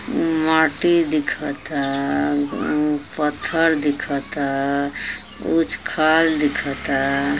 माटी दिखता। पत्थर दिखता। उच खाल दिखता।